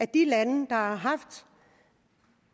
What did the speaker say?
de lande der har haft